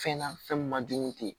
Fɛn na fɛn min ma jugu te